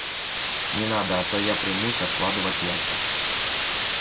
не надо а то я примусь откладывать яйца